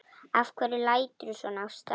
Af hverju læturðu svona Ásta?